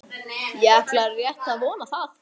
Ég ætla rétt að vona það.